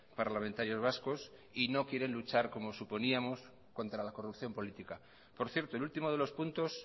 parlamentarios vascos y no quieren luchar como suponíamos contra la corrupción política por cierto el último de los puntos